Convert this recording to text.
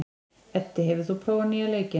Eddi, hefur þú prófað nýja leikinn?